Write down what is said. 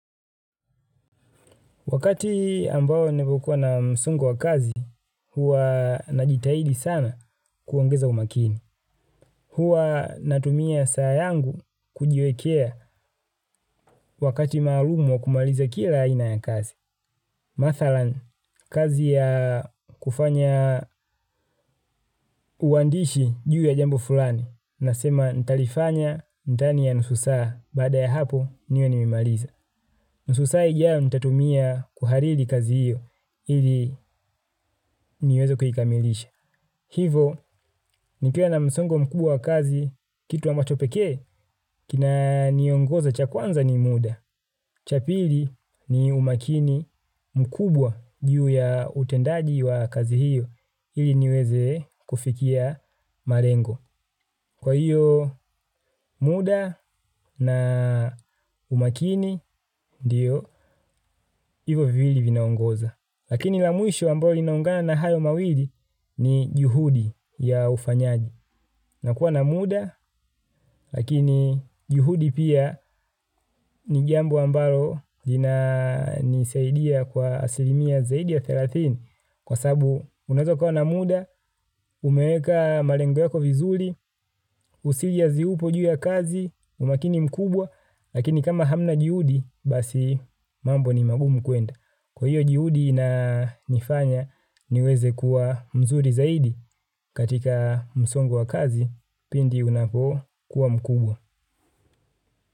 Wakati ambao nimekuwa na msongo wa kazi, huwa najitahidi sana kuongeza umakini. Huwa natumia saa yangu kujiwekea wakati maalumu wa kumaliza kila aina ya kazi. Mathalani, kazi ya kufanya uandishi juu ya jambo fulani, nasema nitalifanya ndani ya nusu saa baada ya hapo niwe nimeimaliza. Nusu saa ijao nitatumia kuhariri kazi hiyo ili niweze kuikamilisha. Hivo nikiwa na msongo mkubwa kazi kitu ambacho pekee kinaniongoza cha kwanza ni muda. Cha pili ni umakini mkubwa juu ya utendaji wa kazi hiyo ili niweze kufikia malengo. Kwa hiyo muda na umakini ndiyo hivo viwili vinaongoza. Lakini la mwisho ambao linaungana na hayo mawili ni juhudi ya ufanyaji. Na kuwa na muda lakini juhudi pia ni jambo ambalo linanisaidia kwa asilimia zaidi ya thelathini kwa sababu unaeza kuwa na muda umeweka malengo yako vizuri userious upo juu ya kazi umakini mkubwa lakini kama hamna juhudi basi mambo ni magumu kuenda. Kwa hiyo juhudi inanifanya niweze kuwa mzuri zaidi katika msongo wa kazi pindi unapo kuwa mkubwa.